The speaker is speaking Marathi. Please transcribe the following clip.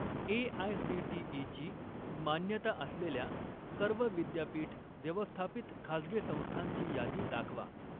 ए.आय.सी.टी.ई. ची मान्यता असलेल्या सर्व विद्यापीठ व्यवस्थापित खाजगी संस्थांची यादी दाखवा.